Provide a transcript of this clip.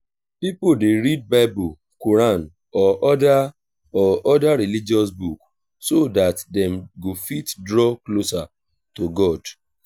pipo dey read bible quran or oda or oda religious book so dat dem go fit draw closer to god